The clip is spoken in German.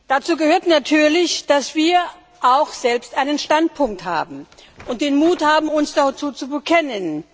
Dazu gehört natürlich, dass wir auch selbst einen Standpunkt haben und den Mut haben, uns dazu zu bekennen.